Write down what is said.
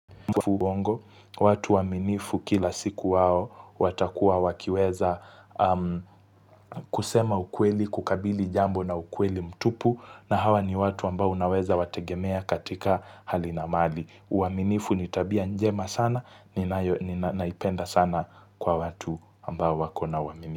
Watu waaminifu kila siku wao watakuwa wakiweza kusema ukweli, kukabili jambo na ukweli mtupu na hawa ni watu ambao unaweza wategemea katika hali na mali. Uaminifu ni tabia njema sana ninayo, naipenda sana kwa watu ambao wako na uaminifu.